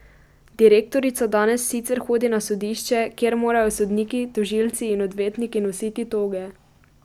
Direktorica danes sicer hodi na sodišče, kjer morajo sodniki, tožilci in odvetniki nositi toge.